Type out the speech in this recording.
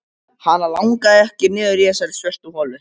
Hana langaði ekki niður í þessa svörtu holu.